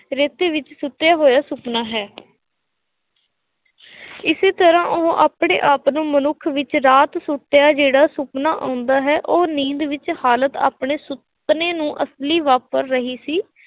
ਰੇਤੇ ਵਿੱਚ ਸੁੱਤਿਆ ਹੋਇਆ ਸੁਪਨਾ ਹੈ ਇਸੇ ਤਰ੍ਹਾ ਉਹ ਆਪਣੇ ਆਪ ਨੂੰ ਮਨੁੱਖ ਵਿੱਚ ਰਾਤ ਸੁੱਤਿਆਂ ਜਿਹੜਾ ਸੁਪਨਾ ਆਉਂਦਾ ਹੈ, ਉਹ ਨੀਂਦ ਵਿੱਚ ਹਾਲਤ ਆਪਣੇ ਹਾਲਾਤ ਨੂੰ ਅਸਲੀ ਵਾਪਰ ਰਹੀ ਸੀ।